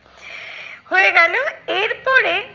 হয়ে গেলো এরপরে,